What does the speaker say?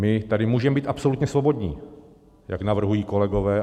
My tady můžeme být absolutně svobodní, jak navrhují kolegové.